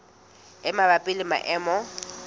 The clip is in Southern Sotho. e mabapi le maemo a